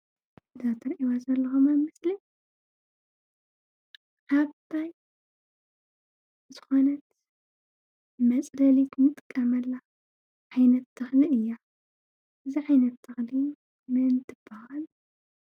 እዛ ትሪእዋ ዘለኹም ቆፅሊ ዓባይ ዝኾነት መፅለሊት እንጥቀመላ ዓይነት ተኽሊ እያ፡፡ እዛ ዓይነት ተኽሊ መን ትባሃል?